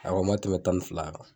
A kɔni ma tɛmɛ tan ni fila kan